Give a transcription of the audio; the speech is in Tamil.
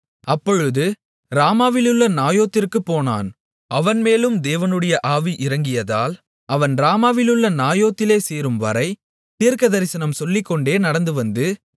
அப்பொழுது ராமாவிலுள்ள நாயோதிற்குப் போனான் அவன் மேலும் தேவனுடைய ஆவி இறங்கியதால் அவன் ராமாவிலுள்ள நாயோதிலே சேரும் வரை தீர்க்கதரிசனம் சொல்லிக்கொண்டே நடந்துவந்து